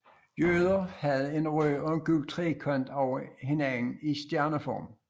Jøder havde en rød og gul trekant over hinanden i stjerneform